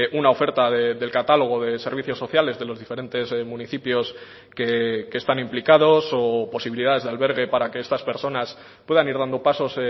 una oferta del catálogo de servicios sociales de los diferentes municipios que están implicados o posibilidades de albergue para que estas personas puedan ir dando pasos